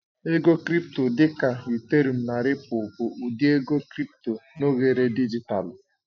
Ego Crị́pto dị ka Ethereụ́m na Ripụ́l bụ ụdị ego crị́pto na oghere dijitalụ.